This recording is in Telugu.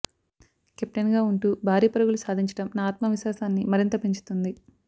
కెప్టెన్గా ఉంటూ భారీ పరుగులు సాధించడం నా ఆత్మవిశ్వాసాన్ని మరింత పెంచుతుంది